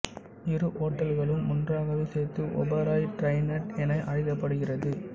இரு ஹோட்டல்களும் ஒன்றாகவே சேர்த்து ஓபராய் டிரைடன்ட் என அழைக்கப்படுகிறது